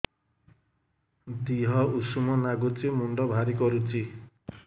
ଦିହ ଉଷୁମ ନାଗୁଚି ମୁଣ୍ଡ ଭାରି କରୁଚି